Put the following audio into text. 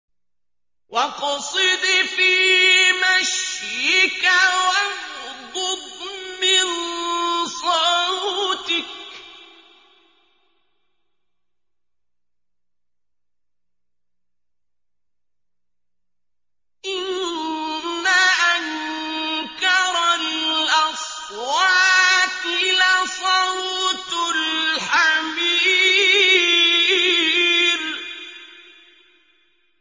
وَاقْصِدْ فِي مَشْيِكَ وَاغْضُضْ مِن صَوْتِكَ ۚ إِنَّ أَنكَرَ الْأَصْوَاتِ لَصَوْتُ الْحَمِيرِ